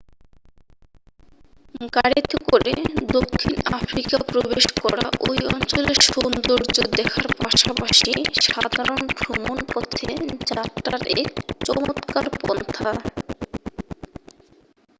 গাড়িতে করে দক্ষিণ আফ্রিকা প্রবেশ করা ঐ অঞ্চলের সৌন্দর্য্য দেখার পাশাপাশি সাধারণ ভ্রমণ পথে যাত্রার এক চমৎকার পন্থা